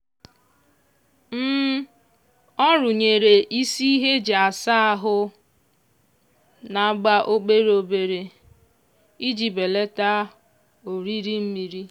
ọ rụnyere isi ihe e ji a saa ahụ na-agba obere obere iji belata oriri mmiri